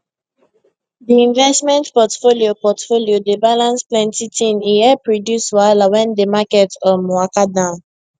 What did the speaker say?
di investment portfolio portfolio dey balance plenty ting e help reduce wahala wen di market um waka down